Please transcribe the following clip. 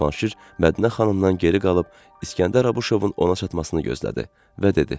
Və Cavanşir Mədinə xanımdan geri qalıb İsgəndər Abışovun ona çatmasını gözlədi və dedi: